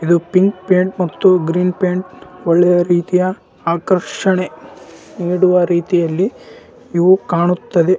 ಬಣ್ಣಾ ಹೊಡದಿದ್ದರೆ ಬಿಲ್ಡಿಂಗ್ ಗೆ. ಮೆಟ್ಟಲುಗಳು ಕಾನಾಸ್ಬಿಟ್ಟಿದೆ. ಖಿಡಿಕಿಗಳು --